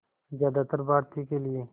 ज़्यादातर भारतीयों के लिए